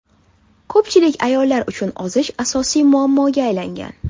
Ko‘pchilik ayollar uchun ozish asosiy muammoga aylangan.